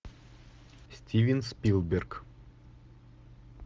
стивен спилберг